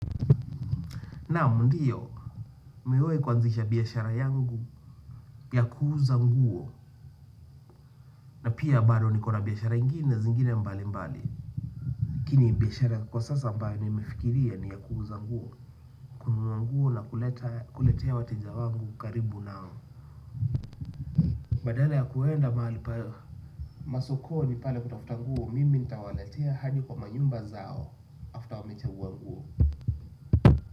Naam ndiyo nimewai kuanzisha biashara yangu ya kuuza nguo na pia bado nikona biashara ingine zingine mbali mbali lakini biashara kwa sasa ambayo nimefikiria ni ya kuuza nguo kununua nguo na kuletea wateja wangu karibu nao badala ya kwenda mahali masokoni pale kutafuta nguo mimi nitawaletea hadi kwa manyumba zao after wamechagua nguo.